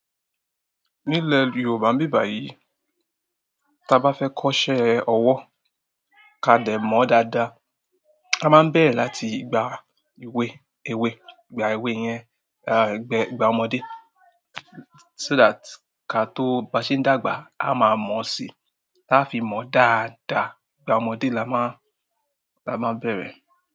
Nílé Yorùbá n bi bà yìí, tí a bá fẹ́ kọ́ṣẹ́ ọwọ́ ká dẹ̀ mọ̀ dáadáa, a máa bẹ̀rẹ̀ láti gba ìwé, èwe, gba ewé yẹn, gba ọmọdé. So that, ká tó bá ṣe ń dàgbà, a máa mọ̀ síi. Táfi mọ̀ dáadáa, ìgbà ọmọdé la máa, la máa bẹ̀rẹ̀.